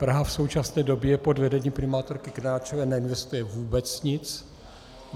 Praha v současné době pod vedením primátorky Krnáčové neinvestuje vůbec nic.